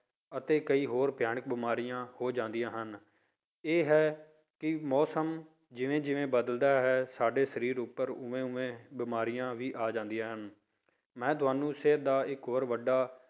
ਅਤੇ ਕਈ ਹੋਰ ਭਿਆਨਕ ਬਿਮਾਰੀਆਂ ਹੋ ਜਾਂਦੀਆਂ ਹਨ, ਇਹ ਹੈ ਕਿ ਮੌਸਮ ਜਿਵੇਂ ਜਿਵੇਂ ਬਦਲਦਾ ਹੈ ਸਾਡੇ ਸਰੀਰ ਉੱਪਰ ਉਵੇਂ ਉਵੇਂ ਬਿਮਾਰੀਆਂ ਵੀ ਆ ਜਾਂਦੀਆਂ ਹਨ, ਮੈਂ ਤੁਹਾਨੂੰ ਸਿਹਤ ਦਾ ਇੱਕ ਹੋਰ ਵੱਡਾ